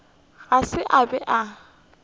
ga se a be a